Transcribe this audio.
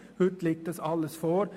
Heute liegt dies alles vor.